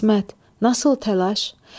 İsmət, nasil təlaş?